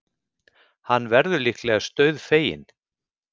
Hann verður líklegast dauðfeginn.